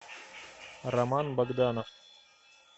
роман богданов